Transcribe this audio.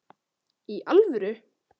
Í alvöru!